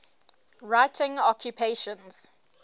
writing occupations